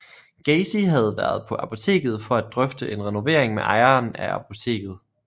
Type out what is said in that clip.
Gacy havde været på apoteket for at drøfte en renovering med ejeren af apotektet